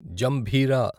జంభీరా